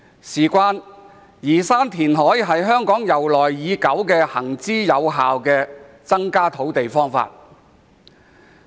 透過填海增加土地供應，是香港沿用已久、行之有效的方法。